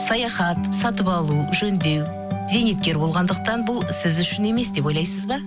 саяхат сатып алу жөндеу зейнеткер болғандықтан бұл сіз үшін емес деп ойлайсыз ба